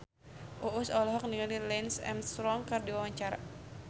Uus olohok ningali Lance Armstrong keur diwawancara